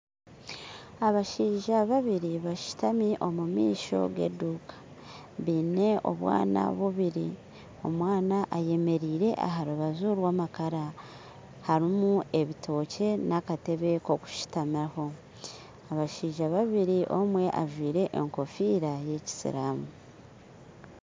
Abashaija babiiri bashuutami omumaisho g'eduuka baine obwaana bubiiri omwaana ayeemerire aharubaju rwa amaakara harimu ebitookye n'akateebe nk'okushuutamaho abashaija babiiri omwe ajwire egofiira y'ekisiiramu